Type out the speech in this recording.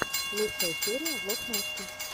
лучшая серия влог насти